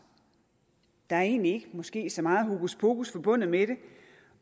der er egentlig ikke måske så meget hokuspokus forbundet med det